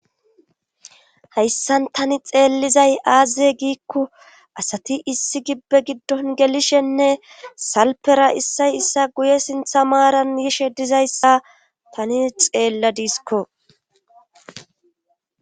Haysan ta I xeelizay aze gikon asati issí give gidon gelishe ne salfera issay issa guye sintha maata dizaysa tani xeeladisko